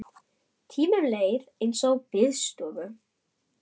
Tíminn leið eins og tíminn líður á biðstofum.